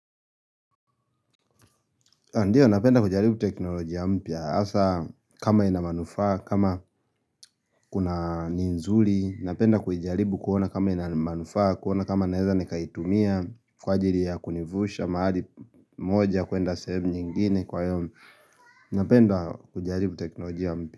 Ndiyo, napenda kujaribu teknolojia mpya. Hasa, kama inamanufaa, kama kuna nzuli, napenda kujaribu kuona kama inamanufaa, kuona kama naweza nekaitumia, kwa jairi ya kunivusha, mahali moja kuenda sehemu nyingine kwa hiyo. Napenda kujaribu teknoloji ya mpya.